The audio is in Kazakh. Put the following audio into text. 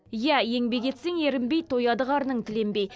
иә еңбек етсең ерінбей тояды қарның тіленбей